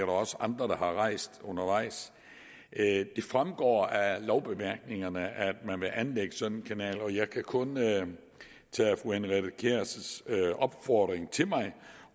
også andre der har rejst undervejs det fremgår af lovbemærkningerne at man vil anlægge sådan en kanal og jeg kan kun tage fru henriette kjærs opfordring